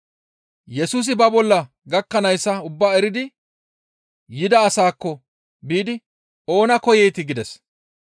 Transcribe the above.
Yesusi ba bolla gakkanayssa ubbaa eridi yida asaakko biidi, «Oona koyeetii?» gides.